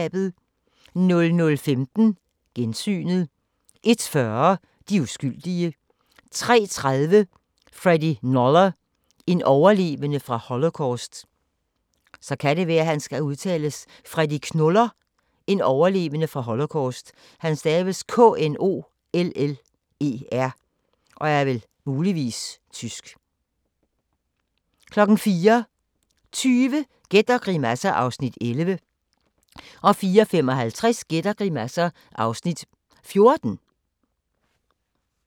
00:15: Gensynet 01:40: De uskyldige 03:30: Freddie Knoller – en overlevende fra holocaust 04:20: Gæt og grimasser (Afs. 11) 04:55: Gæt og grimasser (Afs. 14)